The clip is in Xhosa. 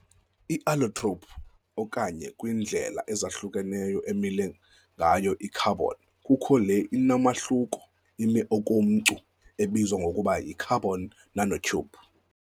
I-allotrope okanye kwiindlela ezahlukeneyo emile ngayo i-carbon kukho le inomahluko, ime okomcu ebizwa ngokuba yi-carbon nanotube.